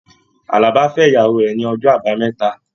Àlàbá fẹ ìyàwó rẹ ní ọjọ àbámẹ́ta